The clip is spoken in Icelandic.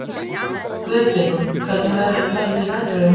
Guðfinna, hvernig verður veðrið á morgun?